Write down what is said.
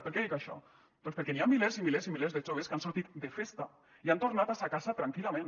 per què dic això doncs perquè hi ha milers i milers i milers de joves que han sortit de festa i han tornat a sa casa tranquil·lament